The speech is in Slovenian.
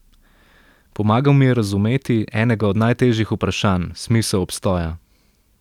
Pomagal mi je razumeti, enega od najtežjih vprašanj, smisel obstoja ...